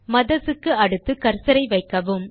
mothers க்கு அடுத்து கர்சரை வைக்கவும்